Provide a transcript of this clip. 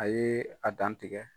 A ye a dan tigɛ.